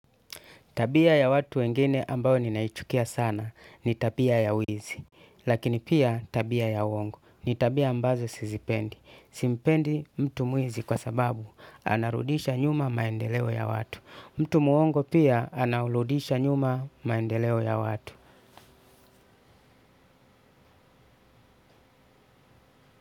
Tabia ya watu wengine ambao ninaichukia sana ni tabia ya wizi. Lakini pia tabia ya uongo ni tabia ambazo sizipendi. Simpendi mtu mwizi kwa sababu anarudisha nyuma maendeleo ya watu. Mtu muongo pia anaurudisha nyuma maendeleo ya watu.